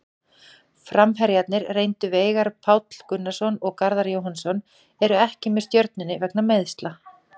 Framherjarnir reyndu Veigar Páll Gunnarsson og Garðar Jóhannsson eru ekki með Stjörnunni vegna meiðsla.